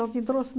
trouxe?